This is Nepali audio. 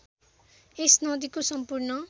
यस नदीको सम्पूर्ण